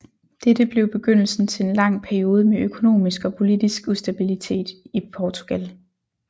Dette blev begyndelsen til en lang periode med økonomisk og politisk ustabilitet i Portugal